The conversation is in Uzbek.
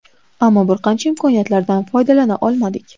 Ammo bir qancha imkoniyatlardan foydalana olmadik.